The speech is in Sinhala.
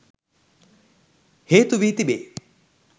හේතු වී තිබේ